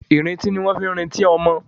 Ì̀rintí ní wọ́n ń fi ń rintí ọmọ.